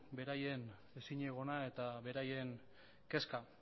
beraien ezinegona eta beraien kezka